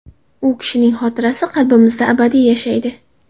U kishining xotirasi qalbimizda abadiy yashaydi.